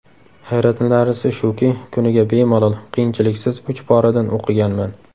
Hayratlanarlisi shuki, kuniga bemalol, qiyinchiliksiz uch poradan o‘qiganman.